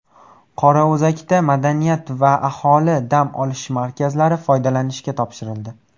Qorao‘zakda madaniyat va aholi dam olish markazi foydalanishga topshirildi.